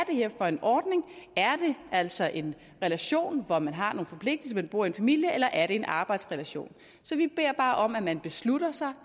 er for en ordning er det altså en relation hvor man har nogle forpligtelser men bor i en familie eller er det en arbejdsrelation så vi beder bare om at man beslutter sig